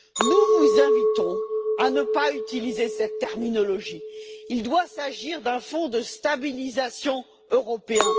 Nous vous invitons à ne pas utiliser cette terminologie, il doit s'agir d'un fonds de stabilisation européen.